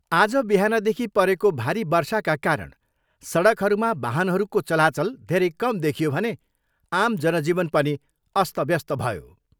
आज बिहानदेखि परेको भारी वर्षाका कारण सडकहरूमा वाहनहरूको चलाचल धेरै कम देखियो भने आम जनजीवन पनि अस्तव्यस्त भयो।